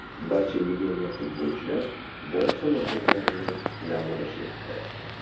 Barcha legioner futbolchilar bor salohiyatlarini namoyish etdi.